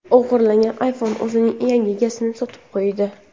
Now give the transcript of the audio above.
O‘g‘irlangan iPhone o‘zining yangi egasini sotib qo‘ydi.